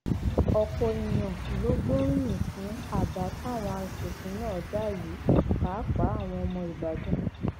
ọpọ èèyàn ló gbóríyìn fún àbá táwọn asòfin náà dá yìí pàápàá àwọn ọmọ ìbàdàn